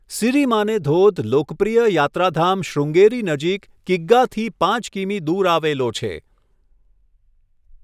સિરિમાને ધોધ લોકપ્રિય યાત્રાધામ શૃંગેરી નજીક કિગ્ગાથી પાંચ કિમી દૂર આવેલો છે.